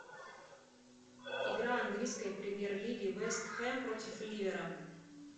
игра английской премьер лиги вест хэм против ливера